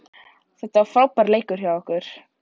Þetta var frábær leikur hjá okkur